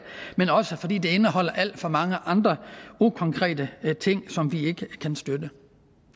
men også fordi det indeholder alt for mange andre ukonkrete ting som vi ikke kan støtte